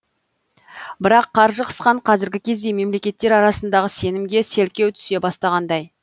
бірақ қаржы қысқан қазіргі кезде мемлекеттер арасындағы сенімге селкеу түсе бастағандай